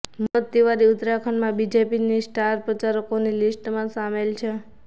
મનોજ તિવારી ઉત્તરાખંડમાં બીજેપીની સ્ટાર પ્રચારકોની લિસ્ટમાં સામેલ છે